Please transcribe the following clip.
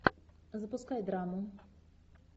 запускай драму